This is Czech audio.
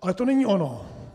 Ale to není ono.